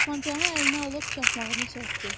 Tapancanı əlinə alıb çaxmağını çəkdi.